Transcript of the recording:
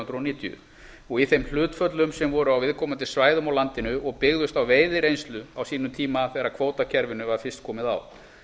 hundruð níutíu og í þeim hlutföllum sem voru á viðkomandi svæðum á landinu og byggðust á veiðireynslu á sínum tíma þegar kvótakerfinu var fyrst komið á